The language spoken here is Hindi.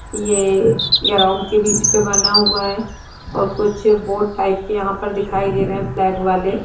ये ग्राउंड के बीच में बना हुआ है और कुछ बोर्ड टाइप के यहां पे दिखाई दे रहा है फ्लैग वाले ।